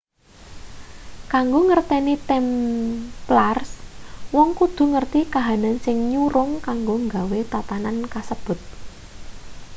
kanggo ngerteni templars wong kudu ngerti kahanan sing nyurung kanggo nggawe tatanan kasebut